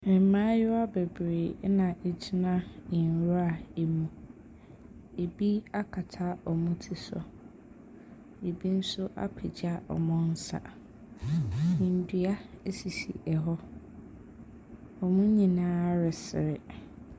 Mmaayewa bebree na ɛgyina nwura mu, bi akata wɔn ti so, bi nso apagya wɔn nsa, ndua sisi hɔ, wɔn nyinaa resere.